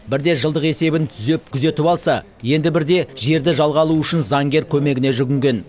бірде жылдық есебін түзеп күзетіп алса енді бірде жерді жалға алу үшін заңгер көмегіне жүгінген